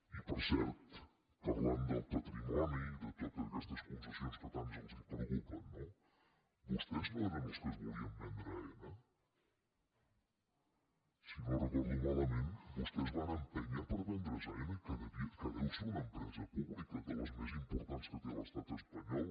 i per cert parlant del patrimoni i de totes aquestes concessions que tant els preocupen no vostès no eren els que es volien vendre aena si no ho recordo malament vostès van empènyer per vendre’s aena que deu ser una empresa pública de les més importants que té l’estat espanyol